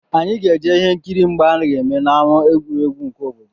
Anyị ga-eje ihe nkiri mgba a ga-eme n'ámá egwuregwu obodo